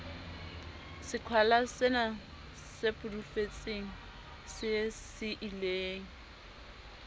seqhwalasena se pudufetseng se siileng